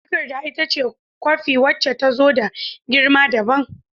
Takarda ita ce kwafi wacce ta zo da girma dabam.